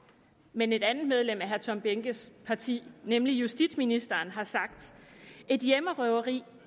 men et andet medlem af herre tom behnkes parti nemlig justitsministeren har sagt et hjemmerøveri